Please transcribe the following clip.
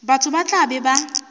batho ba tla be ba